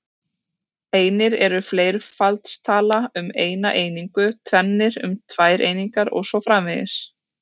Einir er fleirfaldstala um eina einingu, tvennir um tvær einingar og svo framvegis.